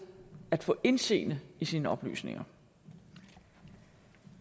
at få indseende i sine oplysninger